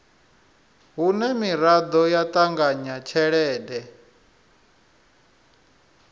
hune miraḓo ya ṱanganya tshelede